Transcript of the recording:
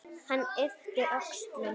Hann yppir öxlum.